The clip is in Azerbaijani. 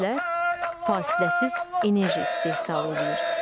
İES-lər fasiləsiz enerji istehsal eləyir.